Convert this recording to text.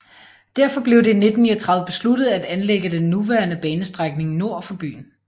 Derfor blev det i 1939 besluttet at anlægge den nuværende banestrækning nord for byen